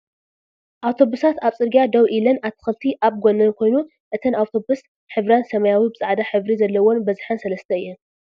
ኣውቶብሳት ኣብ ፅርግያ ደዉ ኢለን ኣትክልቲ ኣብ ጎነን ኮይኑ እተን ኣዉቶብስ ሕብረን ሰመያዊ ብፃዕዳ ሕብሪ ዘለወን በዝሐን ሰለሰተ እየን ።